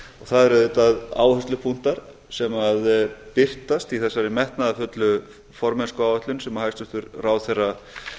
það eru auðvitað áherslupunktar sem birtast í þessari metnaðarfullu formennskuáætlun sem hæstvirtur ráðherra